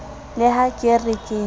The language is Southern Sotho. le ha ke re ke